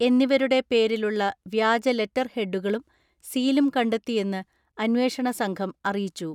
എന്നിവരുടെ പേരിലുള്ള വ്യാജ ലെറ്റർ ഹെഡുകളും സീലും കണ്ടെത്തിയെന്ന് അന്വേഷണ സംഘം അറിയിച്ചു.